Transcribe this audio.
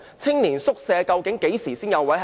青年宿舍究竟何時才有宿位？